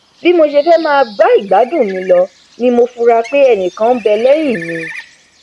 bí mo ṣe fẹ máà bá ìgbádùn mi lọ ni mo fura pé ẹnìkan nbẹ lẹhìn mi